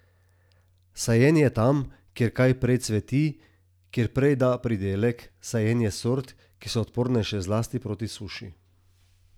Sajenje tam, kjer kaj prej cveti, kjer prej da pridelek, sajenje sort, ki so odpornejše zlasti proti suši.